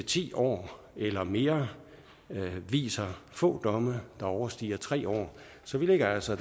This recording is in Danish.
ti år eller mere viser få domme der overstiger tre år så vi ligger altså